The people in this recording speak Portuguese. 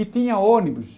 E tinha ônibus.